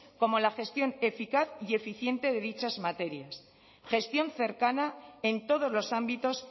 como la gestión eficaz y eficiente de dichas materias gestión cercana en todos los ámbitos